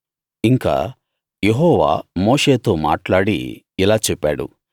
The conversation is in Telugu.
ఇంకా యెహోవా మోషేతో మాట్లాడి ఇలా చెప్పాడు